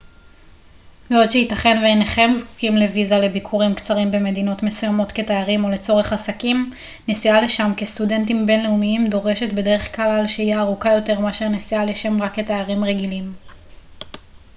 בעוד שיתכן ואינכם זקוקים לויזה לביקורים קצרים במדינות מסוימות כתיירים או לצורך עסקים נסיעה לשם כסטודנטים בינלאומיים דורשת בדרך כלל שהייה ארוכה יותר מאשר נסיעה לשם רק כתיירים רגילים